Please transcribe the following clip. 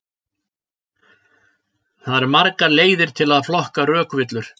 Það eru margar leiðir til að flokka rökvillur.